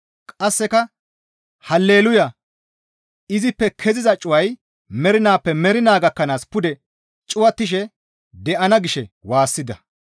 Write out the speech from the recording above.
Qasseka, «Hale luuya; izippe keziza cuway mernaappe mernaa gakkanaas pude cuwattishe de7ana» gishe waassida.